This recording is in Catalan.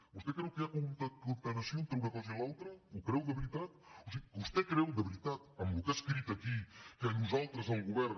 vostè creu que hi ha concatenació entre una cosa i l’altra ho creu de veritat o sigui vostè creu de veritat amb el que ha escrit aquí que nosaltres el govern